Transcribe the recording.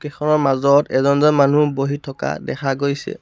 এখনৰ মাজত এজন এজন মানুহ বহি থকা দেখা গৈছে।